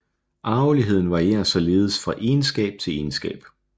Arveligheden varierer således fra egenskab til egenskab